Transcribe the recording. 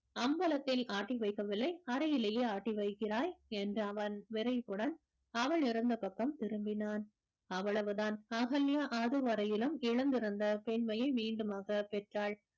அம்பலத்தில் ஆட்டி வைக்கவில்லை அறையிலேயே ஆட்டி வைக்கிறாய் என்று அவன் விரைப்புடன் அவள் இருந்த பக்கம் திரும்பினான் அவ்வளவுதான் அகல்யா அது வரையிலும் எழுந்திருந்த பெண்மையை மீண்டுமாக பெற்றாள்